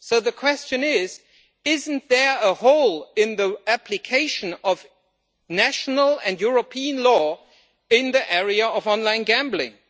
So the question is isn't there a hole in the application of national and European law in the area of online gambling?